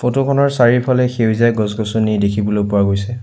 Photo খনৰ চাৰিফলে সেউজীয়া গছ গছনি দেখিবলৈ পোৱা গৈছে।